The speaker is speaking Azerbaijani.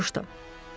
Kraliça soruşdu.